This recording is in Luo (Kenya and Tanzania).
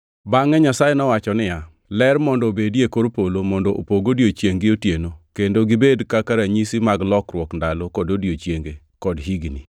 Bangʼe Nyasaye nowacho niya, “Ler mondo obedie e kor polo mondo opog odiechiengʼ gi otieno, kendo gibed kaka ranyisi mag lokruok ndalo kod odiechienge, kod higni,